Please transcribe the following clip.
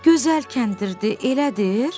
Gözəl kəndirdir, elədir?